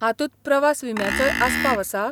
हातूंत प्रवास विम्याचोय आस्पाव आसा?